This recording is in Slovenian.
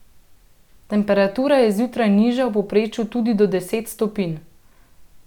Temperatura je zjutraj nižja v povprečju tudi do deset stopinj.